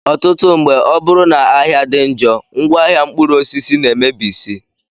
Ọtụtụ mgbe, ọ bụrụ na ahịa dị njọ, ngwaahịa mkpụrụosisi na-emebisị